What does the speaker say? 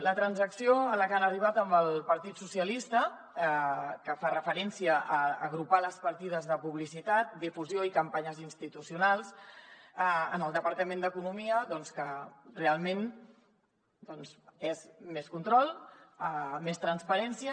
la transacció a la que han arribat amb el partit socialistes que fa referència a agrupar les partides de publicitat difusió i campanyes institucionals en el departament d’economia doncs que realment és més control més transparència